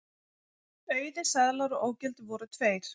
Auðir seðlar og ógildir voru tveir